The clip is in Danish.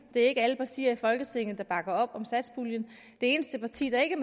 det er ikke alle partier i folketinget der bakker op om satspuljen det eneste parti der ikke